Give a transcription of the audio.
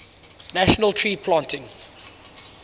national tree planting